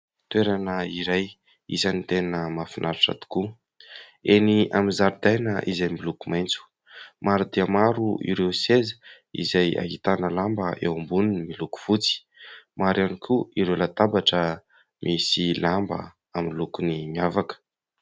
Toerana iray isany tena mahafinaritra tokoa eny amin'ny zaridaina izay miloko maitso, maro dia maro ireo seza izay ahitana lamba eo amboniny miloko fotsy, maro ihany koa ireo latabatra misy lamba amin'ny lokony miavaka.